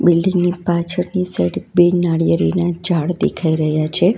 Building ની પાછળ ની સાઈડ બે નાળીયેરીના ઝાડ દેખાઈ રહ્યા છે.